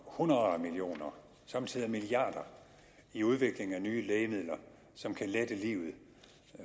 hundreder af millioner somme tider milliarder i udviklingen af nye lægemidler som kan lette livet